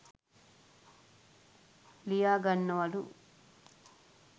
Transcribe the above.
ලියාගන්නවලු